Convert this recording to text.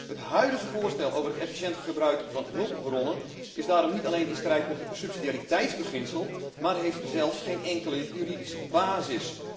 Het huidige voorstel over het efficiënt gebruik van hulpbronnen is daarom niet alleen in strijd met het subsidiariteitsbeginsel, maar heeft zelfs geen enkele juridische basis.